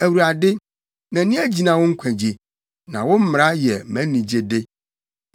Awurade, mʼani agyina wo nkwagye, na wo mmara yɛ mʼanigyede.